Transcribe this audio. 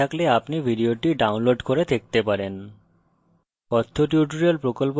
ভাল bandwidth না থাকলে আপনি ভিডিওটি download করে দেখতে পারেন